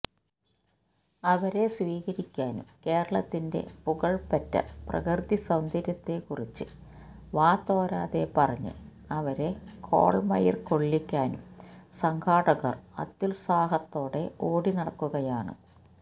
അവരെ സ്വീകരിക്കാനും കേരളത്തിന്റെ പുകഴ്പെറ്റ പ്രകൃതിസൌന്ദര്യത്തെക്കുറിച്ച് വാതോരാതെ പറഞ്ഞ് അവരെ കോള്മയിര്കൊള്ളിക്കാനും സംഘാടകര് അത്യുത്സാഹത്തോടെ ഓടി നടക്കുകയാണ്